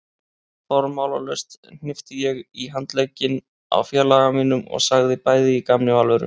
Formálalaust hnippti ég í handlegginn á félaga mínum og sagði bæði í gamni og alvöru